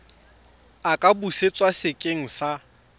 a ka busetswa sekeng sa